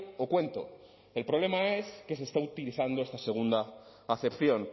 o cuento el problema es que se está utilizando esta segunda acepción